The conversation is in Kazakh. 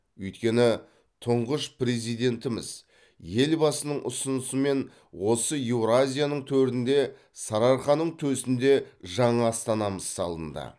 өйткені тұңғыш президентіміз елбасының ұсынысымен осы еуразияның төрінде сарыарқаның төсінде жаңа астанамыз салынды